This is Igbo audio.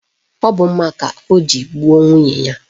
Ọ bụ mma ka o ji gbuo nwunye ya